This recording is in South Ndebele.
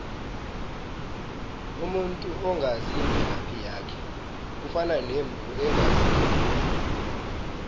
umuntu ongazi imvelaphi yakhe ufana nemvu engazi unina